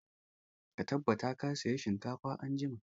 Ka tabbata ka saya shinkafa anjima!